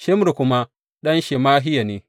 Shimri kuma ɗan Shemahiya ne.